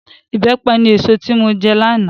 Ìbẹ́pẹ ni èso tí mo jẹ lánàá